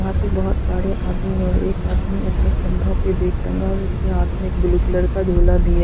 यहां पर बहुत सारे आदमी और एक आदमी अपने कंधों पर बेग टंगा और उसे हाथ में ब्लू कलर का झोला भी है।